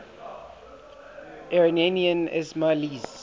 iranian ismailis